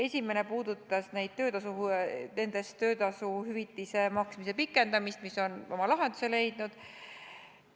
Esimene nendest puudutas töötasu hüvitise maksmise pikendamist, mis on oma lahenduse leidnud.